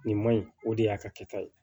Nin ma ɲi o de y'a ka kɛta ye